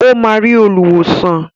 Ó máa rí olùwòsàn.